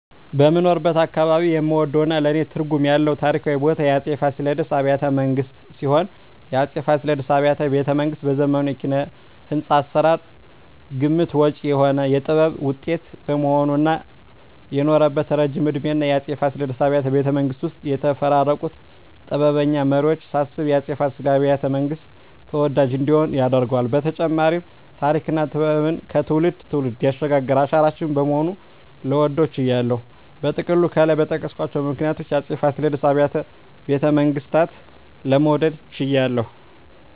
በምኖርበት አካባባቢ የምወደውና ለኔ ትርጉም ያለው ታሪካዊ ቦታ የአፄ ፋሲለደስ አብያተ ቤተመንግስት ሲሆን፣ የአፄ ፋሲለደስ አብያተ ቤተመንግስት በዘመኑ የኪነ-ህንጻ አሰራር ግምት ውጭ የሆነ የጥበብ ውጤት በመሆኑ እና የኖረበት እረጅም እድሜና የአፄ ፋሲለደስ አብያተ ቤተመንግስት ውስጥ የተፈራረቁትን ጥበበኛ መሪወች ሳስብ የአፄ ፋሲለደስ አብያተ- መንግስት ተወዳጅ እንዲሆን ያደርገዋል በተጨማሪም ተሪክና ጥበብን ከትውልድ ትውልድ ያሸጋገረ አሻራችን በመሆኑ ልወደው ችያለሁ። በጥቅሉ ከላይ በጠቀስኳቸው ምክንያቶች የአፄ ፋሲለደስ አብያተ ቤተመንግስትን ለመውደድ ችያለሁ